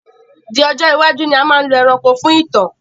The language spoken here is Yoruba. Di ọjọ́ iwájú ni a máa lọ ẹranko fún ìtàn